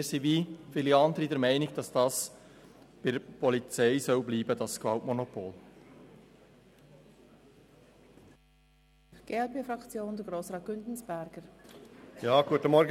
Wir sind wie viele andere der Meinung, dass das Gewaltmonopol bei der Polizei bleiben soll.